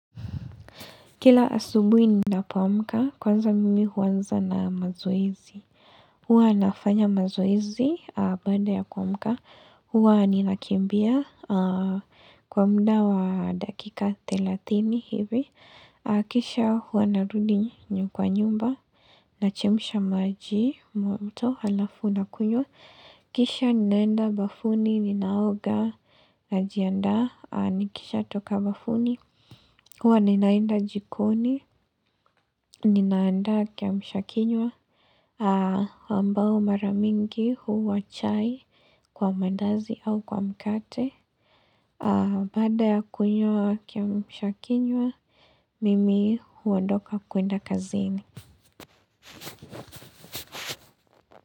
Kila asubui ninapoamka, kwanza mimi huanza na mazoezi. Huwa nafanya mazoezi baada ya kuamka. Huwa ninakimbia kwa muda wa dakika thelathini hivi. Kisha hua narudi kwa nyumba. Nachemsha maji moto halafu nakunywa. Kisha ninaenda bafuni ninaoga najiandas nikishatoka bafuni. Huwa ninaenda jikoni, ninaanda kiamshakinywa, ambao mara mingi huwa chai kwa mandazi au kwa mkate. Bada ya kunywa kiamshakinywa, mimi huondoka kuenda kazini.